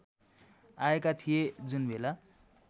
आएका थिए जुनबेला